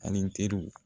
Ani teriw